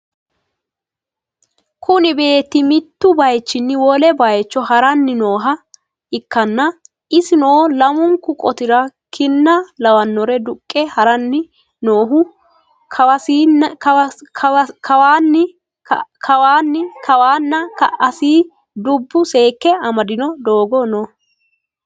kuni beetti mittu bayichinni wole bayicho ha'ranni nooha ikkanna, isino lamunku qoti'ra kinna lawi'nore duqqe ha'ranni noohu, kawasiinna ka''asinni dubbu seekke amadino doogo no.